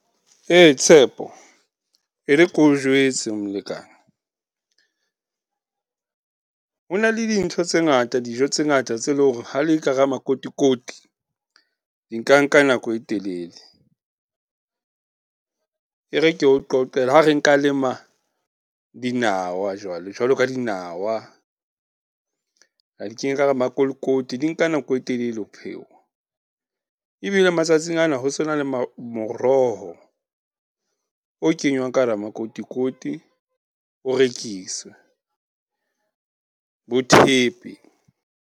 Tshepo, e re ke o jwetse molekane. Ho na le dintho tse ngata, dijo tse ngata tse leng hore ha di le ka hara makotikoti, di nka nka nako e telele. E re ke o qoqele, ha re nka lema dinawa jwalo, jwalo ka dinawa. Ra di kenya ka hara makolokoti, di nka nako e telele ho phewa. Ebile matsatsing ana ho so na le , moroho o kenywang ka hara makotikoti, o rekise, bo thepe.